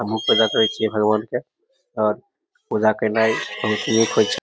हम्हू पूजा करे छीये भगवान के पूजा करने बहुत ही नीक होय छै।